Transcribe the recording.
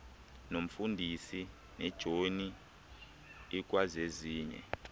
nomfundisi nejoni ikwazezinye